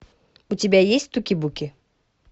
у тебя есть туки буки